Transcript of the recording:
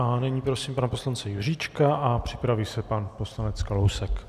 A nyní prosím pana poslance Juříčka a připraví se pan poslanec Kalousek.